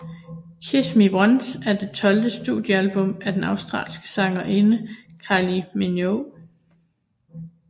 Kiss Me Once er det tolvte studiealbum af den australske sangerinde Kylie Minogue